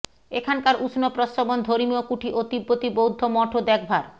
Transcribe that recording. এখানকার উষ্ণ প্রস্রবণ ধর্মীয় কুঠি ও তিব্বতী বৌদ্ধ মঠও দেখবার